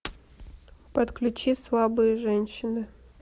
подключи слабые женщины